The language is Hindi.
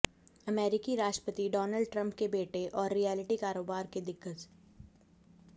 अमेरिकी राष्ट्रपति डॉनल्ड ट्रंप के बेटे और रीयल्टी कारोबार के दिग्गज